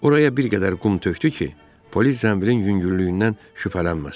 Oraya bir qədər qum tökdü ki, polis zənbilin yüngüllüyündən şübhələnməsin.